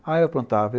Ah, eu aprontava.